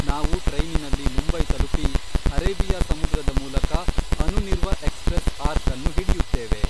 ನಾವು ಟ್ರೈನಿನಲ್ಲಿ ಮುಂಬೈತಲುಪಿ ಅರೇಬಿಯಾ ಸಮುದ್ರದ ಮೂಲಕ ಅನುನಿರ್ವ ಎಕ್ಸಪ್ರೆಸ್ ಆರ್ಕ್ ಅನ್ನು ಹಿಡಿಯುತ್ತೇವೆ